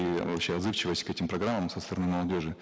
и вообще отзывчивость к этим программам со стороны молодежи